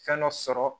Fɛn dɔ sɔrɔ